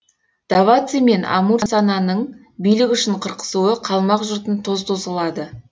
даваци мен амурсананың билік үшін қырқысуы қалмақ жұртын тоз тоз қылады